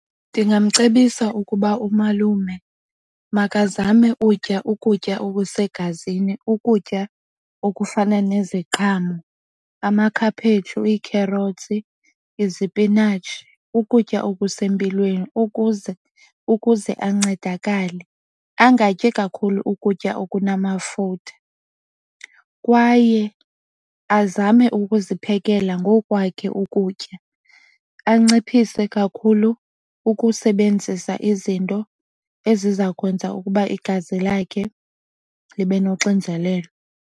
Ndingamcebisa ukuba umalume makazame utya ukutya okusegazini. Ukutya okufana neziqhamo, amakhaphetshu, iikherotsi, izipinatshi ukutya okusempilweni ukuze ukuze ancedakale. Angatyi kakhulu ukutya okunamafutha. Kwaye azame ukuziphekela ngokwakhe ukutya. Anciphise kakhulu ukusebenzisa izinto eziza kwenza ukuba igazi lakhe libe noxinzelelo.